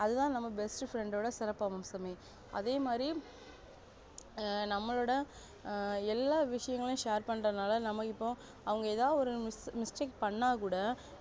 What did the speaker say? அதுதா நம்ம best friend டோட சிறப்பம்சமே அதேமாரி ஆ நம்மளோட எல்ல விஷயங்களையும் share பண்றதுனால நமக்கு இப்போ அவங்க ஏதாது ஒரு mistake பன்னாகூட